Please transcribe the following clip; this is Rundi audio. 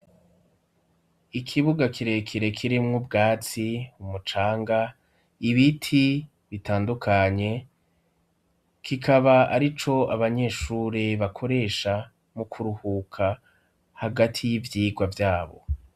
Ikibuga kirekere kirimwo ubwatsi umucanga ibiti bitandukanye kikaba ari co abanyeshure bakoresha mu kuruhuka hagati y'ivyirwa vyabo.